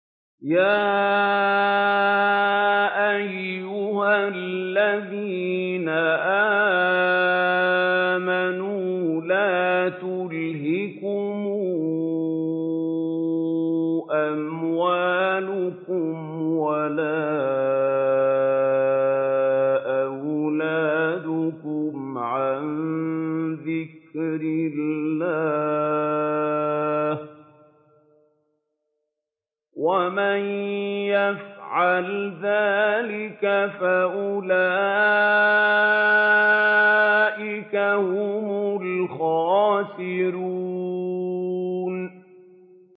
يَا أَيُّهَا الَّذِينَ آمَنُوا لَا تُلْهِكُمْ أَمْوَالُكُمْ وَلَا أَوْلَادُكُمْ عَن ذِكْرِ اللَّهِ ۚ وَمَن يَفْعَلْ ذَٰلِكَ فَأُولَٰئِكَ هُمُ الْخَاسِرُونَ